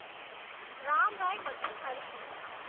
ராம்ராய் மற்றும் ஹரிகிருஷ்ணா